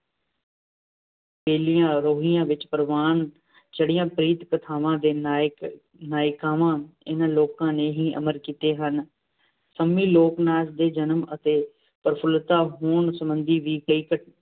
ਬੇਲਿਆਂ, ਰੋਹੀਆਂ ਵਿੱਚ ਪ੍ਰਵਾਨ ਚੜ੍ਹੀਆਂ ਪ੍ਰੀਤ-ਕਥਾਂਵਾਂ ਦੇ ਨਾਇਕ-ਨਾਇਕਾਵਾਂ ਇਹਨਾਂ ਲੋਕਾਂ ਨੇ ਹੀ ਅਮਰ ਕੀਤੇ ਹਨ। ਸੰਮੀ ਲੋਕ-ਨਾਚ ਦੇ ਜਨਮ ਅਤੇ ਪ੍ਰਫੁਲਿਤਾ ਹੋਣ ਸਬੰਧੀ ਵੀ ਕਈ ਘਟ